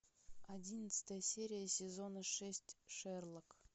одиннадцатая серия сезона шесть шерлок